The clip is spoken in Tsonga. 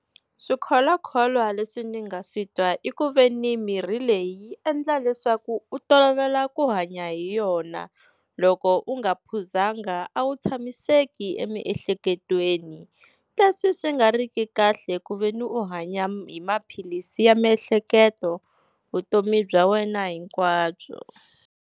Swikholwakholwa leswi ni nga swi twa i ku veni mirhi leyi yi endla leswaku u tolovela ku hanya hi yona, loko u nga phuzanga a wu tshamiseki emiehleketweni leswi swi nga ri ki kahle ku veni u hanya hi maphilisi ya miehleketo vutomi bya wena hinkwabyo.